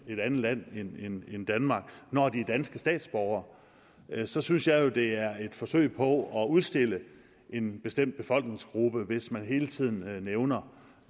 et andet land end danmark når de er danske statsborgere så synes jeg jo det er et forsøg på at udstille en bestemt befolkningsgruppe hvis man hele tiden nævner